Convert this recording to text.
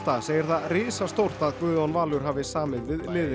segir það risastórt að Guðjón Valur hafi samið við